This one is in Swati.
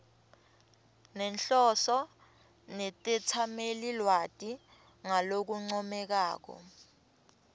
nenhloso netetsamelilwati ngalokuncomekako